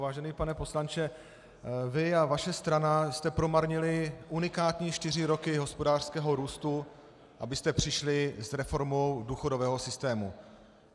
Vážený pane poslanče, vy a vaše strana jste promarnili unikátní čtyři roky hospodářského růstu, abyste přišli s reformou důchodového systému.